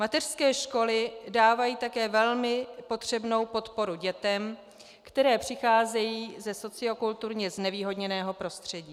Mateřské školy dávají také velmi potřebnou podporu dětem, které přicházejí ze sociokulturně znevýhodněného prostředí.